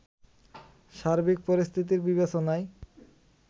সার্বিক পরিস্থিতির বিবেচনায়